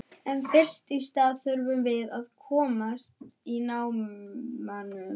En fyrst í stað þurfum við að komast í námuna.